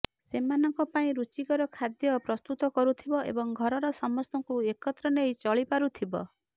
ସେମାନଙ୍କ ପାଇଁ ରୁଚିକର ଖାଦ୍ୟ ପ୍ରସ୍ତୁତ କରୁଥିବ ଏବଂ ଘରର ସମସ୍ତକୁ ଏକତ୍ର ନେଇ ଚଳି ପାରୁଥିବ